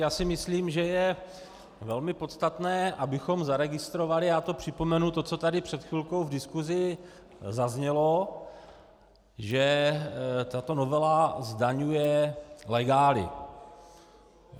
Já si myslím, že je velmi podstatné, abychom zaregistrovali, já to připomenu, to, co tady před chvilkou v diskusi zaznělo, že tato novela zdaňuje legály.